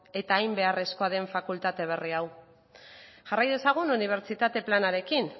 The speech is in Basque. eta hain beharrezkoa den fakultate berri hau jarrai dezagun unibertsitate planarekin